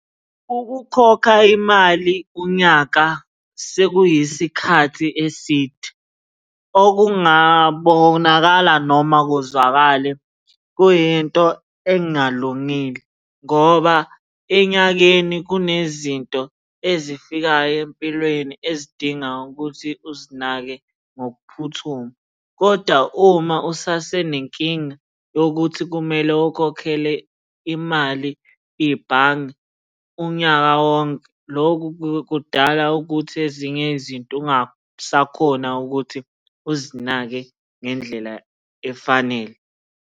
Ukukhokha imali unyaka sekuyisikhathi eside, okungabonakala noma kuzwakale kuyinto engalungile ngoba enyakeni kunezinto ezifikayo empilweni ezidinga ukuthi uzinake ngokuphuthuma, koda uma usasenenkinga yokuthi kumele ukhokhele imali ibhange unyaka wonke, loku kudala ukuthi ezinye izinto ungasakhona ukuthi uzinake ngendlela efanele.